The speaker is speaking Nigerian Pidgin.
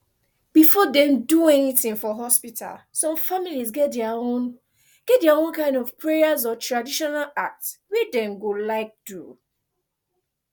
before dem do anything for hospital some families get dia own get dia own kind of prayers or traditional acts wey dem go like do